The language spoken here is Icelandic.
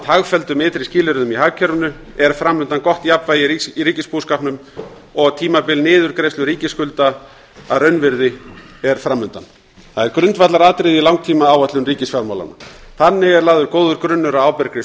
hagfelldum ytri skilyrðum í hagkerfinu er fram undan gott jafnvægi í ríkisbúskapnum og tímabil niðurgreiðslu ríkisskulda að raunvirði er fram undan það er grundvallaratriði í langtímaáætlun ríkisfjármálanna þannig er lagður góður grunnur að ábyrgri